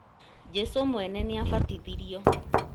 Jesũ mwene nĩ abatithirio